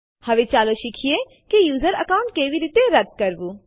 તે માટે આપણે લખીશું આરએમ ટેસ્ટડિર faqટીએક્સટી અને Enter દબાવો